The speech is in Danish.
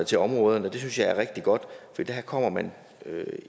til områderne det synes jeg er rigtig godt for der kommer man